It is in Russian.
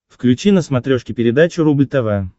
включи на смотрешке передачу рубль тв